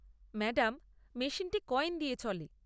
Madam, মেশিনটি coin দিয়ে চলে।